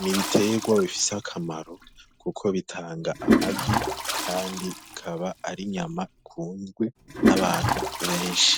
N‘ ibitegwa bifise akamaro kuko bitanga amagi kandi bikaba ari inyama ikundwa n‘ abantu benshi .